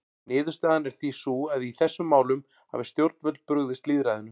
Niðurstaðan er því sú að í þessum máli hafa stjórnvöld brugðist lýðræðinu.